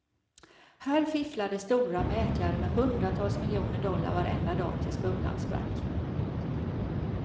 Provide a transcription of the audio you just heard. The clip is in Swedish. Här fifflade stora mäklare med hundratals miljoner dollar varenda dag tills bubblan sprack.